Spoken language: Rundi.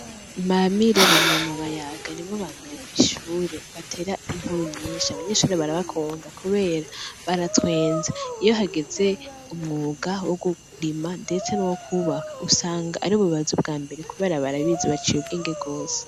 Bamire, Bayaga, na Banuma nibo bantu bambere batera inkuru kw'ishure, abanyeshure barakunda kubera baratwenza ,iyo hageze umwuga wo kurima, ndetse n'uwo kubaka usanga aribo baza ubwambere ,kubera barabizi baciye ubwenge cane gose.